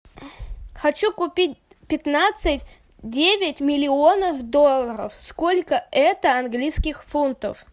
хочу купить пятнадцать девять миллионов долларов сколько это английских фунтов